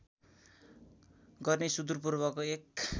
गर्ने सुदूर पूर्वको एक